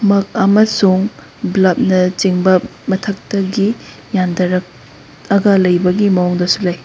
ꯃꯛ ꯑꯃꯁꯨꯡ ꯕ꯭ꯂꯞꯅ ꯆꯤꯡꯕ ꯃꯊꯛꯇꯒꯤ ꯌꯟꯗꯔꯛ ꯑꯒ ꯂꯩꯕꯒꯤ ꯃꯑꯣꯡ ꯗꯁꯨ ꯂꯩ꯫